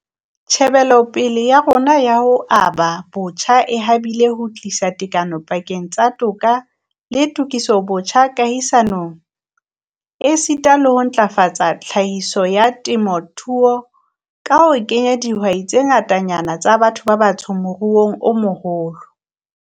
Tjhebelopele ya rona ya ho aba botjha e habile ho tlisa tekano dipakeng tsa toka le tokisobotjha kahisanong, esita le ho ntlafatsa tlhahiso ya temothuo ka ho kenya dihwai tse ngatanyana tsa batho ba batsho moruong o moholo.